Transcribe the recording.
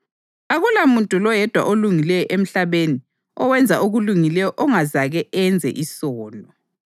Akulamuntu loyedwa olungileyo emhlabeni owenza okulungileyo ongazake enze isono.